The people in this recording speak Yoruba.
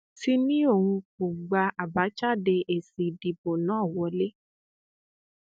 ti ní òun kò gba àbájáde èsì ìdìbò náà wọlẹ